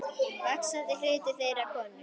Vaxandi hluti þeirra er konur.